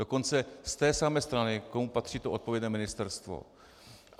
Dokonce z té samé strany, komu patří to odpovědné ministerstvo.